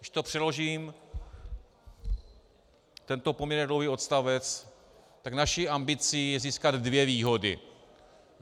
Když to přeložím, tento poměrně dlouhý odstavec, tak naší ambicí je získat dvě výhody.